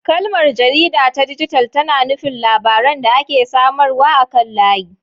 Kalmar "jarida ta dijital" tana nufin labaran da ake samarwa akan layi.